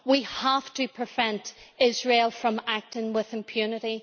We have to prevent Israel from acting with impunity.